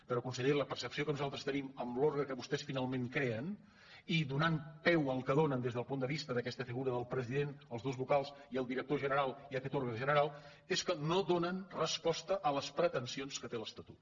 però conseller la percepció que nosaltres tenim amb l’òrgan que vostès finalment creen i donant peu al que donen des del punt de vista d’aquesta figura del president els dos vocals i el director general i aquest òrgan general és que no donen resposta a les pretensions que té l’estatut